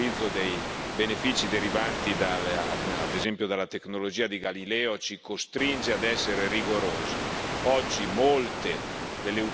Il tema delle applicazioni, ad esempio l'utilizzo dei benefici derivanti dalla tecnologia di Galileo ci costringe ad essere rigorosi.